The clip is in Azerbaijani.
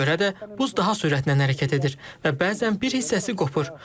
Buna görə də buz daha sürətlə hərəkət edir və bəzən bir hissəsi qopur.